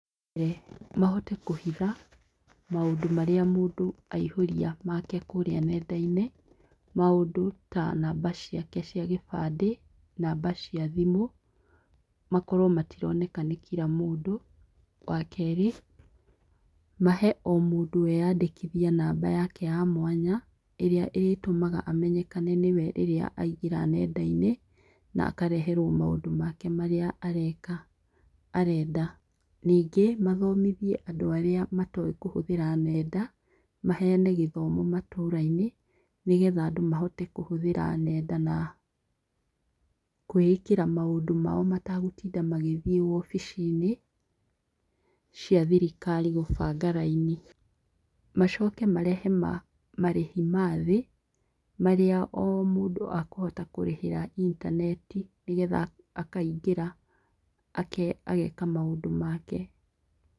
Mahote kũhitha maũndũ marĩa mũndũ aihũria make kũrĩa nendai-inĩ, maũndũ ta namba ciake cia gĩbandĩ, namba cia thimũ, makorwo matironeka nĩ kira mũndũ. Wa kerĩ, mahe o mũndũ e andĩkithie namba yake ya mwanya ĩrĩa ĩritũmaga amenyekane nĩ we aingĩra nendai--inĩ, na akareherwo maũndũ make marĩa areka, arenda. Ningĩ mathomithie andũ arĩa matoĩ kũhũthĩra nenda, maheane gĩthomo matũra-inĩ, nĩgetha andũ mahote kũhũthĩra nenda, na kũĩĩkĩra maũndũ mao mategũtinda magithiĩ obici-inĩ, cia thirikari gũbanda raini. Macoke marehe marĩhi mathĩ marĩa o mũndũ akũhota kũrĩhĩra intaneti nĩgetha akaingĩra ageeka maũndũ make.